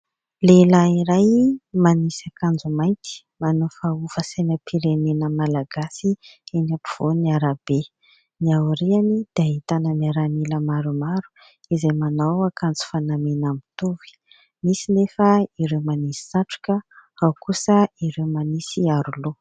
Lehilahy iray manisy akanjo mainty manofahofa sainam-pirenena malagasy eny am-povoan'ny arabe ny aoriany dia ahitana miaramila maromaro izay manao akanjo fanamiana mitovy, nisy nefa ireo manisy satroka, ao kosa ireo manisy aroloha.